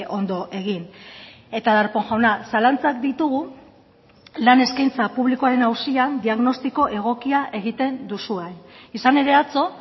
ondo egin eta darpón jauna zalantzak ditugu lan eskaintza publikoaren auzian diagnostiko egokia egiten duzuen izan ere atzo